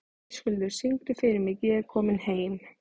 Höskuldur, syngdu fyrir mig „Ég er kominn heim“.